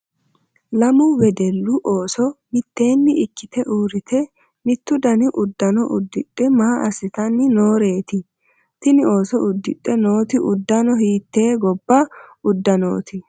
lamu wedellu ooso mittteenni ikkite uurrite mitto dani uddano uddidhe maa assitanni nooreeti? tini ooso uddidhe nooti uddano hiittee gobba uddanooti?